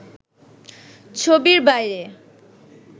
ছবির বাইরে